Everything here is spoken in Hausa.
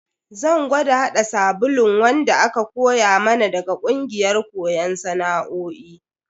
Zan gwada hada sabulun wanda aka koya mana daga kungiyar koyon sana'o'i.